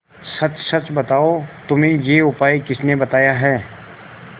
सच सच बताओ तुम्हें यह उपाय किसने बताया है